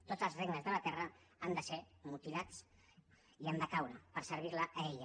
tots els regnes de la terra han de ser mutilats i han de caure per servir la a ella